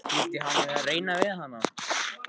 Skyldi hann vera að reyna við hana?